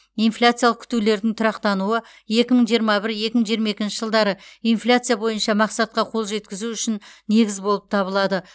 инфляциялық күтулердің тұрақтануы екі мың жиырма бір екі мың жиырма екінші жылдары инфляция бойынша мақсатқа қол жеткізу үшін негіз болып табылады